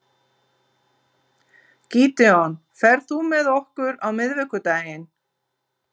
Gídeon, ferð þú með okkur á miðvikudaginn?